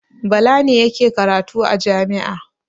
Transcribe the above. Bala ne yake karatu a jami'a.